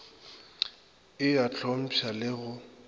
e a hlompšha le go